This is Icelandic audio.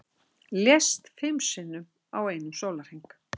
Lést fimm sinnum á einum sólarhring